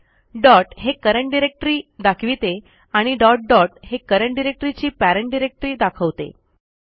dot हे current directory दाखविते आणि डॉट डॉट हे करंट डायरेक्टरी ची पेरेंट डिरेक्टरी दाखवते